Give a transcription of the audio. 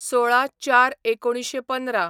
१६/०४/१९१५